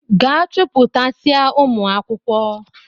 Gaa chupụtasịa ụmụ akwụkwọ!